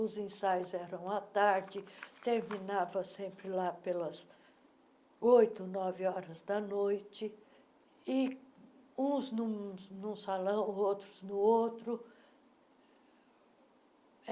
Os ensaios eram à tarde, terminava sempre lá pelas oito, nove horas da noite, e uns num num salão, outros no outro.